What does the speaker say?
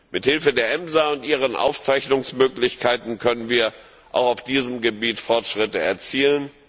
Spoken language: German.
Mit Hilfe der EMSA und ihren Aufzeichnungsmöglichkeiten können wir auch auf diesem Gebiet Fortschritte erzielen.